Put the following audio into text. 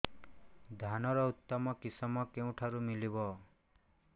ଧାନର ଉତ୍ତମ କିଶମ କେଉଁଠାରୁ ମିଳିବ